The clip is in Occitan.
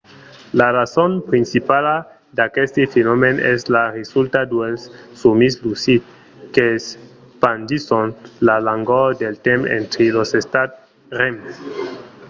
la rason principala d'aqueste fenomèn es la resulta dels sòmis lucids qu'espandisson la longor del temps entre los estats rem